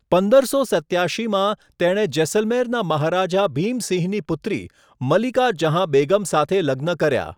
પંદરસો સત્યાશીમાં, તેણે જેસલમેરના મહારાજા ભીમ સિંહની પુત્રી મલિકા જહાં બેગમ સાથે લગ્ન કર્યા.